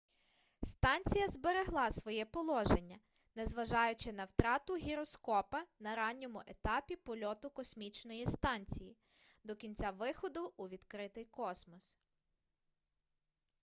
станція зберегла своє положення незважаючи на втрату гіроскопа на ранньому етапі польоту космічної станції до кінця виходу у відкритий космос